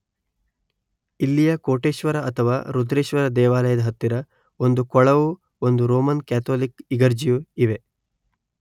ಇಲ್ಲಿಯ ಕೋಟೇಶ್ವರ ಅಥವಾ ರುದ್ರೇಶ್ವರ ದೇವಾಲಯದ ಹತ್ತಿರ ಒಂದು ಕೊಳವೂ ಒಂದು ರೋಮನ್ ಕ್ಯಾಥೋಲಿಕ್ ಇಗರ್ಜಿಯೂ ಇವೆ